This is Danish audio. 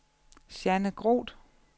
Jeanne Groth